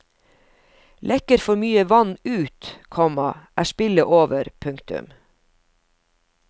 Lekker for mye vann ut, komma er spillet over. punktum